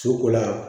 So ko la